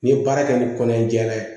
N'i ye baara kɛ ni kɔnɔ jɛra